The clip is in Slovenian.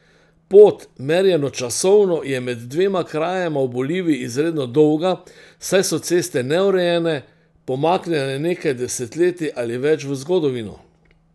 Pot, merjeno časovno, je med dvema krajema v Boliviji izredno dolga, saj so ceste neurejene, pomaknjene nekaj desetletij ali več v zgodovino.